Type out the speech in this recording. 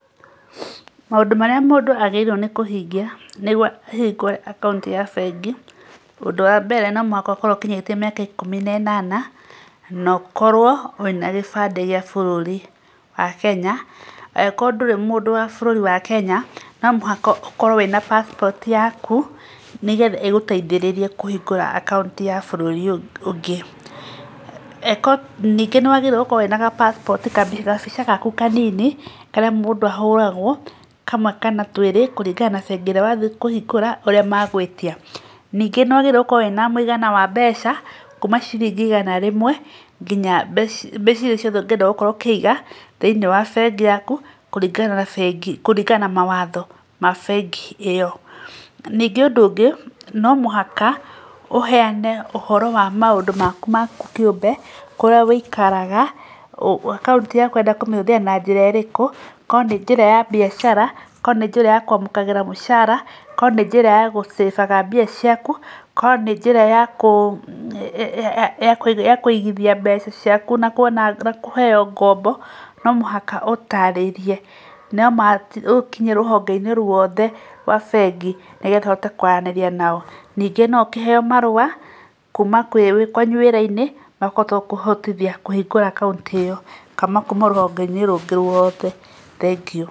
Maũndũ marĩa mũndũ abatiĩ kũhingia nĩgetha ahingũre akaunti ya bengi , ũndũ wa mbere no mũhaka ũkorwo ũkinyĩtie mĩaka ikumi na ĩnana , na ũkorwo wĩna gĩbandĩ gĩa bũrũri wa kenya, angĩkorwo ndũrĩ mũndũ wa bũrũri wa kenya , no mũhaka ũkorwo na passport yaku nĩgetha ĩgũteithĩrĩrie kũhingũra akaunti ya bũrũri ũngĩ, ningĩ nĩ ũbatiĩ gũkorwo na ga passport gabica gaku kanini, karĩa mũndũ ahũragwo, kamwe kana twĩrĩ, kũringana na side ĩrĩa wathiĩ kũhingũra ũrĩa magwĩtia, ningĩ nĩ wagĩrĩirwo gũkorwo na mũigana wa mbeca, kuma ciringi igana rĩmwe nginya mbeca iria ciothe ũngĩenda gũkorwo ũkĩiga, thĩiniĩ wa bengi yaku kũringana na bengi, kũringana na mawatho ma bengi ĩyo, ningĩ ũndũ ũngĩ no mũhaka ũheane ũhoro wa maũndũ maku kĩũmbe, kũrĩa wĩikaraga, akaunti yaku ũrenda kũmĩhũthĩra na njĩra ĩrĩkũ, okorwo nĩ njĩra ya biacara, okorwo nĩ njĩra ya kwamũkagĩra mũcara, korwo nĩ njĩra ya gũcĩbaga mbia ciaku, korwo nĩ njĩra ya kũigithia mbeca ciaku na kuona na kũheo ngombo , no mũhaka ũtarĩrie , na ma ũkinye rũhonge-inĩ rwothe rwa bengi, nĩgetha ũhote kwaranĩria nao, ningĩ no ũkĩheo marua kuma kwanyu wĩra-inĩ makũhota gũkũhotithia kũhingũra akaunti ĩyo , kana kuma rũhonge-inĩ rũngĩ rwothe, thegio.